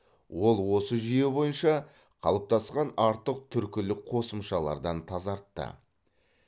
ол осы жүйе бойынша қалыптасқан артық түркілік қосымшалардан тазартты